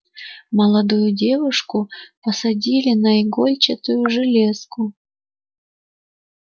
молодую девушку посадили на игольчатую железку